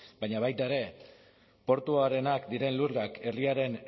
baina baita ere portuarenak diren lurrak herriaren